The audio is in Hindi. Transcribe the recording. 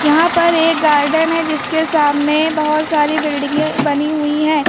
यहां पर एक गार्डन है जिसके सामने बहोत सारी बिल्डिंगें बनी हुई हैं।